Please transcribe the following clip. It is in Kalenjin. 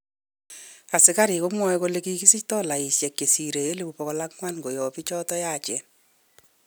Asikarik komwoe kole kisich dolaishek chesire 400,000 koyob bikchoton yachen.